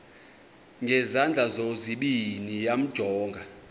ngezandla zozibini yamjonga